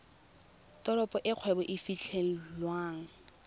teropo e kgwebo e fitlhelwang